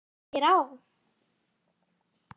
Hvað gengur hér á?